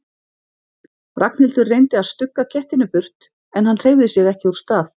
Ragnhildur reyndi að stugga kettinum burt en hann hreyfði sig ekki úr stað.